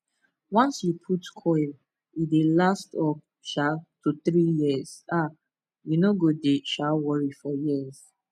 once you put coil e dey last up um to 3yrs ah u no dey um worry for years